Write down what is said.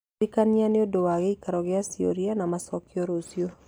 ndirikania nĩũndũ wa gĩikaro gĩa ciũria na macokio rũciũ